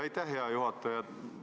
Aitäh, hea juhataja!